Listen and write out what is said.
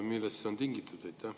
Millest see on tingitud?